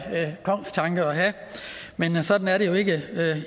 kongstanke at have men sådan er det jo ikke